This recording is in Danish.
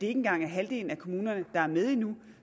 engang er halvdelen af kommunerne der er med endnu